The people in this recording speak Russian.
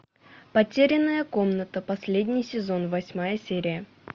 потерянная комната последний сезон восьмая серия